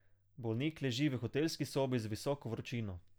Bolnik leži v hotelski sobi z visoko vročino.